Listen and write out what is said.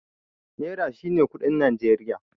Naira shine kuɗin Najeriya.